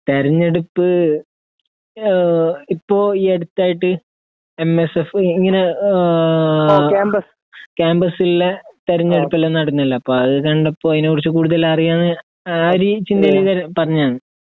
തിരഞ്ഞെടുപ്പ് ഇപ്പോ ഈ അടുത്തായിട്ട് എം എസ് എഫ് ഇങ്ങനെ ഏ കമ്പസിലെ തിരഞ്ഞെടുപ്പ് എല്ലാം നടന്നില്ലേ അതുകണ്ടപ്പോ അതിനെ കുറിച്ച് കൂടുതൽ അറിയാമെന്ന് ആ രീ ചിന്തയില് പറഞ്ഞതാണ്